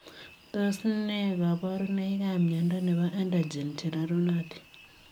Tos nee kabarunoik ap miondoo nepoo Andogen chererunotin?